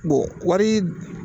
Bon wari